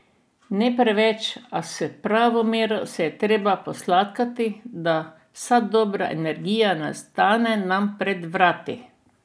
Ne preveč, a s pravo mero se je treba posladkati, da vsa dobra energija ne ostane nam pred vrati!